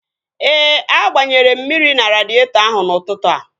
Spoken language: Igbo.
Ee, a gbanyere m mmiri na radịetọ ahụ n'ụtụtụ a